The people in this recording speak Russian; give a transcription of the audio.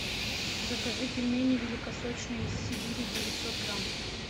закажи пельмени великосочные из сибири девятьсот грамм